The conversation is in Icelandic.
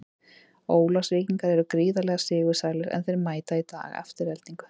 Ólafsvíkingar eru gríðarlega sigursælir, en þeir mæta í dag Aftureldingu.